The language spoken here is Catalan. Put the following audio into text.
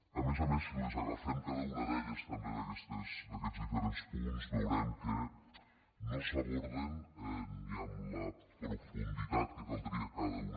a més a més si agafem cada un també d’aquests diferents punts veurem que no s’aborden ni amb la profunditat que caldria cada un